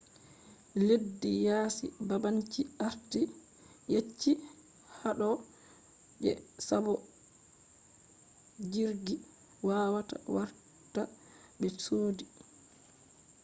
leddi yasi babanci arti yetchi hado je sabo jirgi wawata warta be sodi